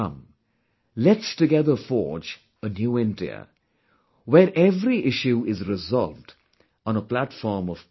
Come, let's together forge a new India, where every issue is resolved on a platform of peace